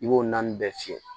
I b'o naani bɛɛ fiyɛ